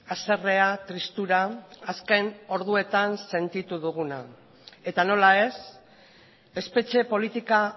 haserrea tristura azken orduetan sentitu duguna eta nola ez espetxe politika